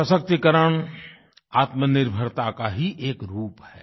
सशक्तीकरण आत्मनिर्भरता का ही एक रूप है